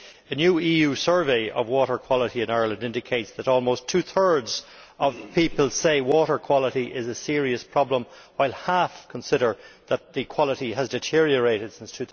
The new EU survey of water quality in Ireland indicates that almost two thirds of people say water quality is a serious problem, while half consider that the quality has deteriorated since